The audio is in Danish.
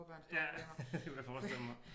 Ja det kunne jeg forestille mig